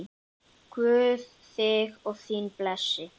Guð þig og þína blessi.